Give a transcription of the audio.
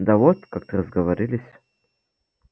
да вот как-то разговорились